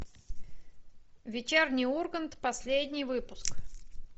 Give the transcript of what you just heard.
вечерний ургант последний выпуск